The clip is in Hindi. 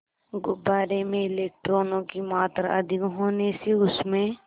गुब्बारे में इलेक्ट्रॉनों की मात्रा अधिक होने से उसमें